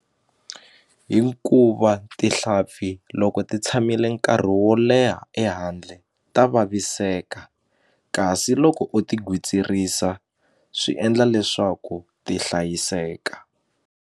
Hikuva tihlapfi loko ti tshamile nkarhi wo leha ehandle ta vaviseka kasi loko u ti gwitsirisa swi endla leswaku ti hlayiseka.